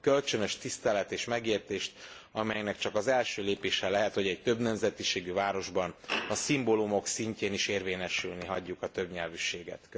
A kölcsönös tisztelet és megértés, amelynek csak az első lépése lehet, hogy egy többnemzetiségű városban a szimbólumok szintjén is érvényesülni hagyjuk a többnyelvűséget.